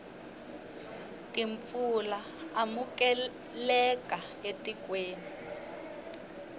timpfula amukeleka etikweni